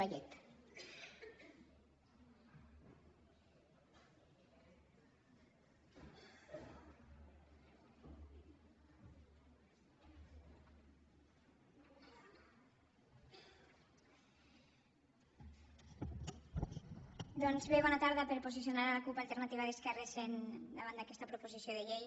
doncs bé bona tarda per posicionar la cup alternativa d’esquerres davant d’aquesta proposició de llei